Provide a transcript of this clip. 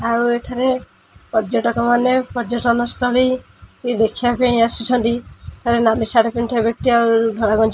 ଆଉ ଏଠାରେ ପର୍ଯ୍ୟାଟକ ମାନେ ପର୍ଯ୍ୟାଟନ ସ୍ଥଳି ଦେଖିବା ପାଇଁ ଆସିଛନ୍ତି ଏ ନାଲି ସାର୍ଟ ପିନ୍ଧିଥିବା ବ୍ୟକ୍ତି ଆଉ ଧଳା ଗଞ୍ଜି --